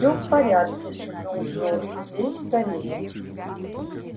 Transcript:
всё в порядке шепнул джордж лезь скорее